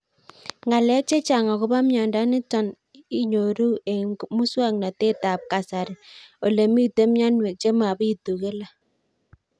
Ng'alek chechang' akopo miondo nitok inyoru eng' muswog'natet ab kasari ole mito mianwek che mapitu kila